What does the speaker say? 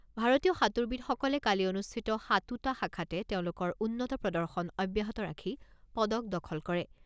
ভাৰতীয় সাঁতোৰবিদসকলে কালি অনুষ্ঠিত সাতোটা শাখাতে তেওঁলোকৰ উন্নত প্ৰদৰ্শন অব্যাহত ৰাখি পদক দখল কৰে।